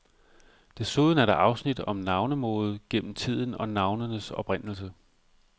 Desuden er der afsnit om navnemode gennem tiden og navnenes oprindelse.